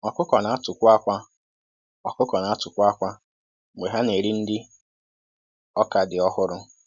Ọkụkọ na-atụkwu àkwá Ọkụkọ na-atụkwu àkwá mgbe ha na-eri nri ọka dị ọhụrụ.